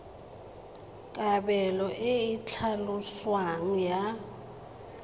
kabelo e e tlhaloswang ya